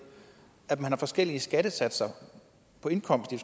at man har forskellige skattesatser på indkomst i